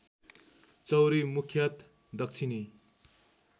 चौँरी मुख्यत दक्षिणी